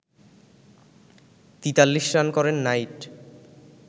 ৪৩ run করেন night